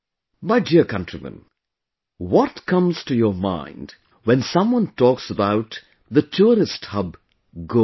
My dear countrymen, what comes to your mind when someone talks about the Tourist Hub Goa